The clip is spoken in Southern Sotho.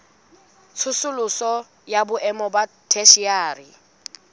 tsosoloso ya boemo ba theshiari